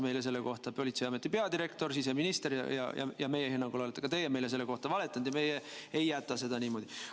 Meile valetas politseiameti peadirektor, siseminister ja meie hinnangul olete ka teie meile selle kohta valetanud ja meie ei jäta seda niimoodi.